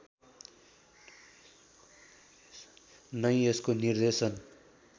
नै यसको निर्देशन